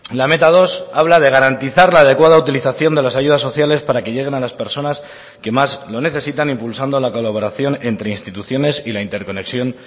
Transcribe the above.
la meta dos habla de garantizar la adecuada utilización de las ayudas sociales para que lleguen a las personas que más lo necesitan impulsando la colaboración entre instituciones y la interconexión